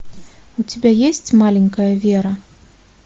у тебя есть маленькая вера